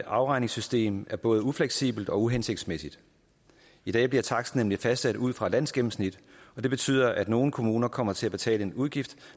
afregningssystem er både ufleksibelt og uhensigtsmæssigt i dag bliver taksten nemlig fastsat ud fra et landsgennemsnit og det betyder at nogle kommuner kommer til at betale en udgift